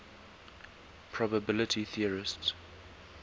probability theorists